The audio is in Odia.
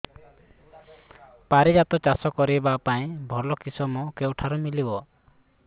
ପାରିଜାତ ଚାଷ କରିବା ପାଇଁ ଭଲ କିଶମ କେଉଁଠାରୁ ମିଳିବ